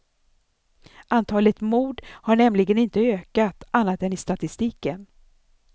Antalet mord har nämligen inte ökat, annat än i statistiken.